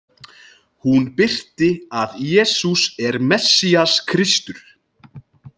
Hún birti að Jesús er Messías, Kristur.